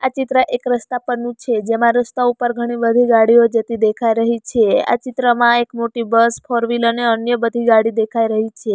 આ ચિત્ર એક રસ્તા પરનું છે જેમાં રસ્તા ઉપર ઘણી બધી ગાડીઓ જતી દેખાઈ રહી છે આ ચિત્રમાં એક મોટી બસ ફોરવીલ અને અન્ય બધી ગાડી દેખાઈ રહી છે.